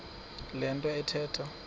le nto athetha